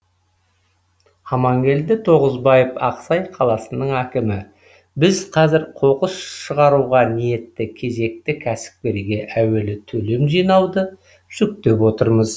амангелді тоғызбаев ақсай қаласының әкімі біз қазір қоқыс шығаруға ниетті кезекті кәсіпкерге әуелі төлем жинауды жүктеп отырмыз